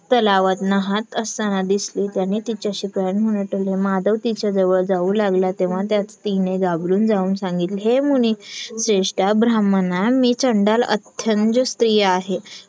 तलावात नाहात असताना दिसली. त्याने तिच्याशी व्याविचार माधव तिच्याजवळ जाऊ लागला तेव्हा तिने घाबरत जाऊन सांगितले हे मुनी श्रेष्टा ब्राह्मणा मी चंडाल अथ्यंज स्त्री आहे